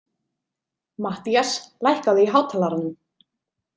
Mattías, lækkaðu í hátalaranum.